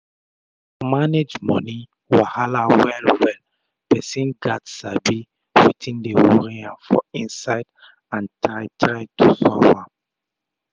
to manage moni wahala well well persin gats sabi wetin dey worri am for inside and try try to solve am